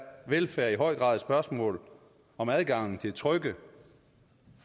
velfærd i høj grad et spørgsmål om adgangen til trygge